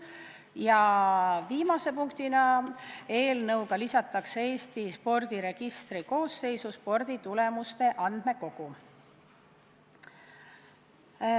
Ja viimane punkt, eelnõuga lisatakse Eesti spordiregistri koosseisu sporditulemuste andmekogu.